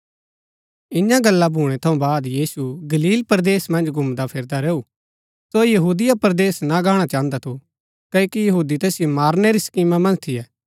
ईयां गल्ला भूणै थऊँ वाद यीशु गलील परदेस मन्ज घुमदाफिरदा रैऊ सो यहूदिया परदेस ना गाणा चाहन्दा थू क्ओकि यहूदी तैसिओ मारणै री स्कीमा मन्ज थियै